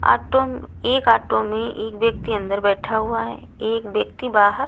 auto म एक auto में एक व्यक्ति अंदर बैठा हुआ है एक व्यक्ति बाहर--